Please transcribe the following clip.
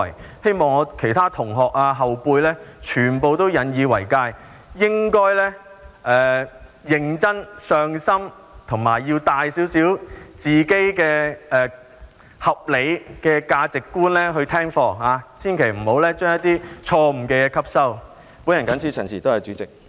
我希望其他同學和後輩都引以為誡，應該認真、上心及帶着合理的價值觀聽課，千萬不要吸收一些錯誤的思想。